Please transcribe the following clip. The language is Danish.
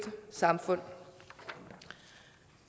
samfund